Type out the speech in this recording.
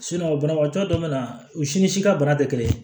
banabagatɔ dɔ bɛna u si ni si ka bana tɛ kelen